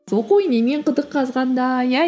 оқу инемен құдық қазғандай иә